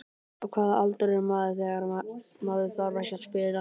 Á hvaða aldri er maður þegar maður þarf ekki að spila?